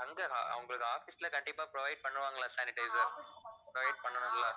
ஆஹ் அவங்களுக்கு office ல கண்டிப்பா provide பண்ணுவாங்களா sanitizer provide பண்ணணும் இல்ல